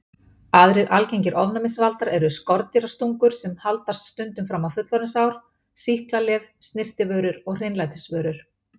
Aðrir algengir ofnæmisvaldar eru skordýrastungur sem haldast stundum fram á fullorðinsár, sýklalyf, snyrtivörur og hreinlætisvörur.